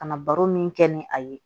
Ka na baro min kɛ ni a ye